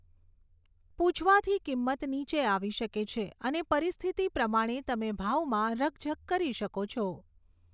પૂછવાથી કિંમત નીચે આવી શકે છે, અને પરિસ્થિતિ પ્રમાણે, તમે ભાવમાં રકઝક કરી શકો છો.